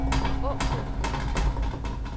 Aakirkeby